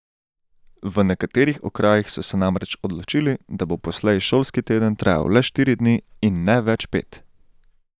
V nekaterih okrajih so se namreč odločili, da bo poslej šolski teden trajal le štiri dni in ne več pet.